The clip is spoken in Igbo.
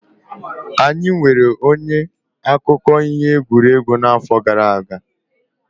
Anyị nweere onye akụkọ ihe egwuregwu n'afọ gara aga.